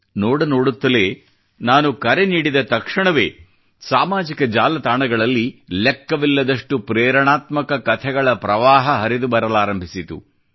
ನೋಡ ನೋಡುತ್ತಲೇ ನಾನು ಕರೆ ನೀಡಿದ ತಕ್ಷಣವೇ ಸಾಮಾಜಿಕ ಜಾಲ ತಾಣಗಳಲ್ಲಿ ಲೆಕ್ಕವಿಲ್ಲದಷ್ಟು ಪ್ರೇರಣಾತ್ಮಕ ಕಥೆಗಳ ಪ್ರವಾಹ ಹರಿದು ಬರಲಾರಂಭಿಸಿತು